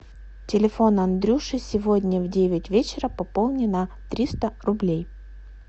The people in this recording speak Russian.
телефон андрюши сегодня в девять вечера пополни на триста рублей